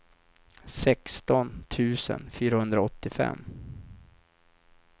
sexton tusen fyrahundraåttiofem